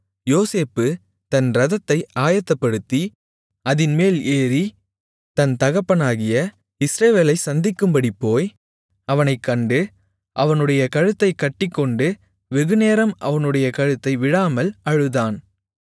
யோசேப்பு தன் இரதத்தை ஆயத்தப்படுத்தி அதின்மேல் ஏறி தன் தகப்பனாகிய இஸ்ரவேலைச் சந்திக்கும்படி போய் அவனைக் கண்டு அவனுடைய கழுத்தைக் கட்டிக்கொண்டு வெகுநேரம் அவனுடைய கழுத்தை விடாமல் அழுதான்